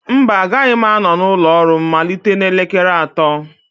mba, agaghị m anọ n'ụlọ ọrụ m malite n'elekere atọ